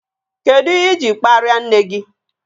Kedụ ihe iji kparia nne gị?